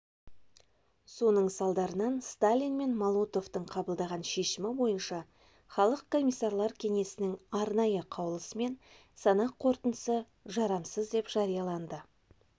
соның салдарынан сталин мен молотовтың қабылдаған шешімі бойынша халық комиссарлар кенесінің арнайы қаулысымен санақ қорытындысы жарамсыз деп жарияланды